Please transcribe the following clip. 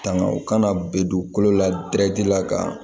Tanga u kana be dugukolo la la ka